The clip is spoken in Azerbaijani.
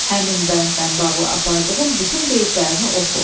Həmin bəndlə bağlı apardığın bütün qeydlərini oxu.